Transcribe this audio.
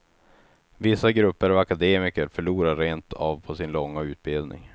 Vissa grupper av akademiker förlorar rent av på sin långa utbildning.